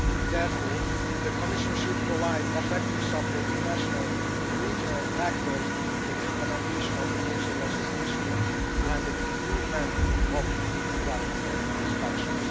therefore, the Commission should provide effective support to national and regional actors in the implementation of nature legislation and the improvement of environmental inspections.